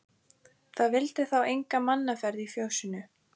Það vildi þá enga mannaferð í fjósinu.